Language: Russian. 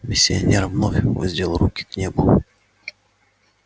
миссионер вновь воздел руки к небу